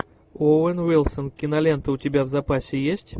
оуэн уилсон кинолента у тебя в запасе есть